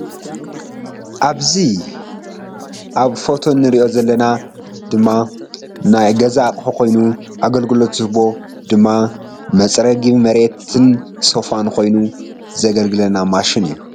ኣዚ ኣብ ፎቶ እንሪኦ ዘለና ድማ ናይ ገዛ ኣቁሑ ኮይኑ ኣግልግሎት ዝሕቦ ድማ ምፅርጊ መርየትን ሶፋን ኮይኑ ዘግልግልና ማሽን እዩ ።